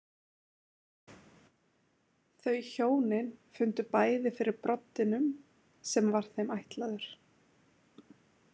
Þau hjónin fundu bæði fyrir broddinum sem var þeim ætlaður.